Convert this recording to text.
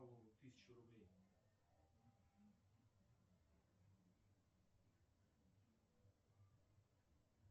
тысячу рублей